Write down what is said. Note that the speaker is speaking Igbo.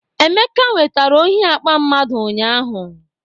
Emeka nwetara ohi akpa ssomeone ụnyahụ